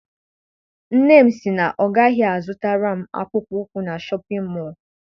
Nne m sị na ọ gaghị a zụtara m akpụkpọ ụkwụ na Shọpịn mọọ.